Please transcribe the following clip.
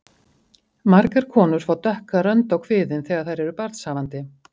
Margar konur fá dökka rönd á kviðinn þegar þær eru barnshafandi.